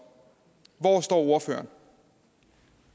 hvor står ordføreren